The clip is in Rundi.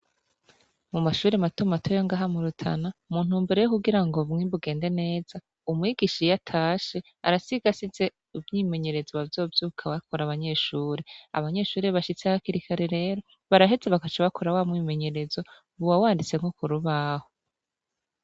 Mu mashure mato mato yo ngaha mu Rutana, mu ntumbero yo kugira ngo ubumwe bugende neza, umwigisha iyo atashe arasiga asize umwimenyerezo bazovyuka bakora abanyeshure, abanyeshure bashitse hakiri kare rero baraheza bagaca bakora wa mwimenyerezo, uba wanditse no ku rubaho.